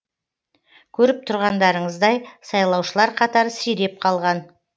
көріп тұрғандарыңыздай сайлаушылар қатары сиреп қалған